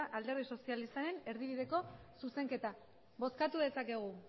alderdi sozialistaren erdibideko zuzenketa bozkatu dezakegu